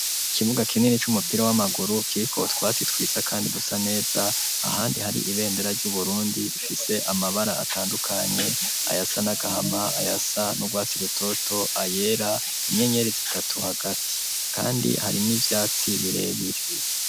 Ikibuga kinini c'umupira w'amaguru kiriko utwasi twiza kandi dusa neza ahandi hari ibendera ryu Burundi rifise amabara atandukanye ayasa n'agahama ayasa n'urwasi rutoto ayera inyenyeri zitatu hagati kandi hari n'ivyatsi birebire.